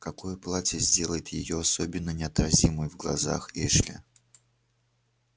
какое платье сделает её особенно неотразимой в глазах эшли